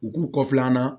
U k'u kɔfilanan na